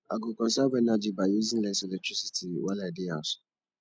i go conserve energy by using less electricity while i dey house